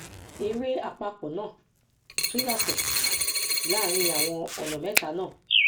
èrè àpapọ náà tún yàtọ láàárín àwọn ọnà mẹta náà